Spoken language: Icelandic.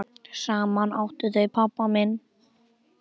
Saman áttu þau pabba minn.